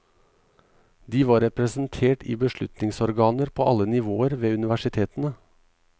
De var representert i beslutningsorganer på alle nivåer ved universitetene.